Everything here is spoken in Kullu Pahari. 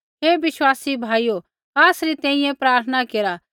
हे विश्वासी भाइयो आसरी तैंईंयैं प्रार्थना केरा